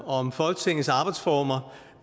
om folketingets arbejdsformer